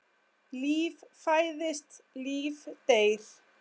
Líf fæðist, líf deyr.